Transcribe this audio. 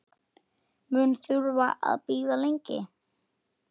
Mun þurfa að bíða lengi.